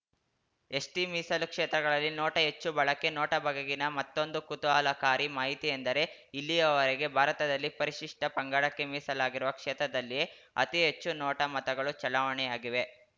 ST ಮೀಸಲು ಕ್ಷೇತ್ರಗಳಲ್ಲಿ NOTA ಹೆಚ್ಚು ಬಳಕೆ ನೋಟಾ ಬಗೆಗಿನ ಮತ್ತೊಂದು ಕುತೂಹಲಕಾರಿ ಮಾಹಿತಿ ಎಂದರೆ ಇಲ್ಲಿಯವರೆಗೆ ಭಾರತದಲ್ಲಿ ಪರಿಶಿಷ್ಟಪಂಗಡಕ್ಕೆ ಮೀಸಲಾಗಿರುವ ಕ್ಷೇತ್ರದಲ್ಲಿಯೇ ಅತಿ ಹೆಚ್ಚು ನೋಟಾ ಮತಗಳು ಚಲಾವಣೆಯಾಗಿವೆ